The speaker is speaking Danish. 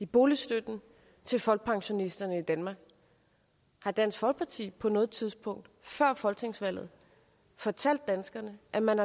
boligstøtten til folkepensionisterne i danmark har dansk folkeparti på noget tidspunkt før folketingsvalget fortalt danskerne at man